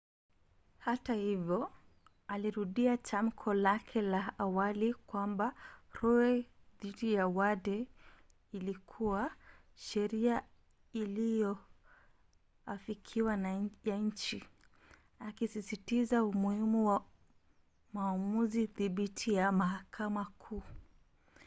hata hivyo alirudia tamko lake la awali kwamba roe dhidi ya wade ilikuwa sheria iliyoafikiwa ya nchi akisisitiza umuhimu wa maamuzi thabiti ya mahakama kuu